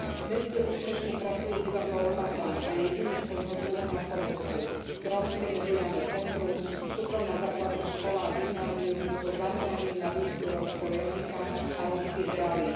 V meste úspešne pracuje divadlo Romathan a je jediné svojho druhu na Slovensku, rómske mediálne centrum, súkromná základná škola a gymnázium so zameraním na výučbu rómskeho jazyka a rómskych reálií.